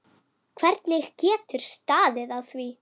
Hvernig getur staðið á því.